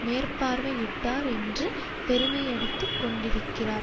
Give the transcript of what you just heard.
மேற்பார்வையிட்டார் என்று பெருமையடித்துக் கொண்டிருக்கிறார்